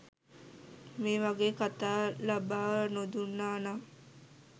මේ වගේ කතා ලබා නොදුන්නා නම්